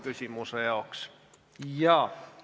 Küsimuse jaoks on ette nähtud üks minut.